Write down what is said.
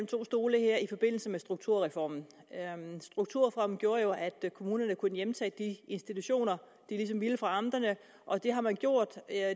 to stole her i forbindelse med strukturreformen strukturreformen gjorde jo at kommunerne kunne hjemtage de institutioner de ville fra amterne og det har man gjort det er